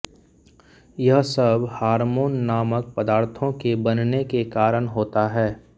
यह सब हार्मोन नामक पदार्थों के बनने के कारण होता है